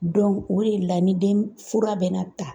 o de la ni den fura bɛ na ta